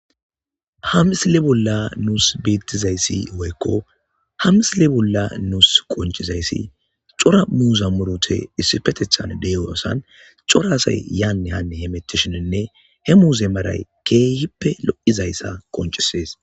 hamisile bolla nuus biittizayssi woykko hamisile bolla nuus qoncizayssi cora muuza murote issifetethan deyoasan corasay yaanne hanne hemetishinenne he muuze maray keehippe lo7izayssa qoncisees